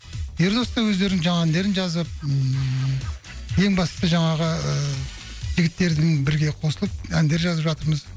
ердос та өздерінің жаңа әндерін жазып ммм ең бастысы жаңағы жігіттердің бірге қосылып әндер жазып жатырмыз